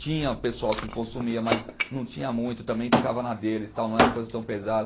Tinha pessoal que consumia, mas não tinha muito, também ficava na deles, tal não era coisa tão pesada.